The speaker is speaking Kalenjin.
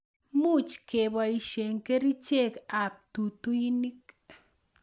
Much keboishe kerichek ab tutuinik